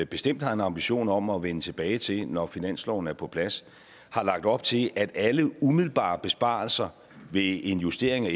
bestemt har en ambition om at vende tilbage til når finansloven er på plads har lagt op til at alle umiddelbare besparelser ved en justering af